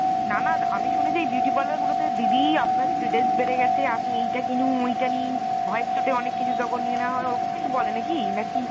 না না আমি শুনেছি beauty parlour গুলো তে , দিদি আপনার splitence বেড়ে গেছে আপনি এইটা কিনুন ঐটা নিন , ভয়ে চোটে অনেক কিছু তখন নিয়ে নেয়া হয় ওরকম কিছু বলে না কী না কী ?